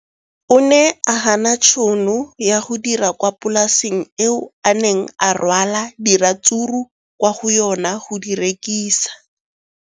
O ne a gana tšhono ya go dira kwa polaseng eo a neng rwala diratsuru kwa go yona go di rekisa.